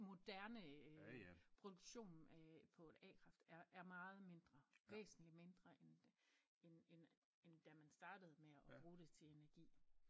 Moderne øh produktion øh på et a-kraft er er meget mindre væsentlig mindre end end end end da man startede med at bruge det til energi